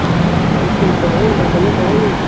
ਇਕ ਦਿਨ ਸਮਾਂ ਆਣਾ, ਬਾਬੇ ਨਾਲ ਖਾਵਾਂਗੇ